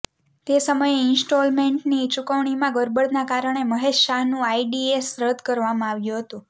તે સમયે ઈન્સ્ટોલમેન્ટની ચૂકવણીમાં ગરબડના કારણે મહેશ શાહનું આઈડીએસ રદ કરવામાં આવ્યુ હતુ